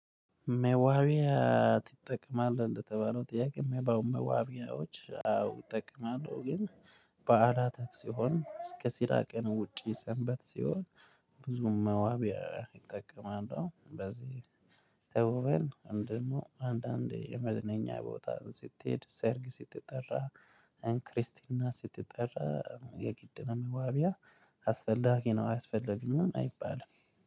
መዋቢያ ትጠቀማለህ እንደተባለው ጥያቄ መባው መዋቢያዎች አዎ እጠቀማለሁ ግን በዓላት ሲሆን እስከ ሲራቅን ውጪ ሰንበት ሲሆን ብዙም መዋብ ይጠቀማል። በዚህ ተውበን አንድ አንድ አንድ የመዝነኛ ቦታ ስትሄድ ሰርግ ስትጠራ ክርስቲን ስትጠራ የጊድ ነው። አብይ አስፈላጊ ነው አያስፈልግም አይባልም።